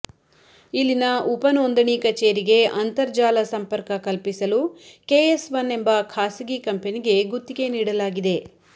ಇಲ್ಲಿನ ಉಪ ನೋಂದಾಣಿ ಕಚೇರಿಗೆ ಅಂತರ್ಜಾಲ ಸಂಪರ್ಕ ಕಲ್ಪಿಸಲು ಕೆಎಸ್ಒನ್ ಎಂಬ ಖಾಸಗಿ ಕಂಪೆನಿಗೆ ಗುತ್ತಿಗೆ ನೀಡಲಾಗಿದೆ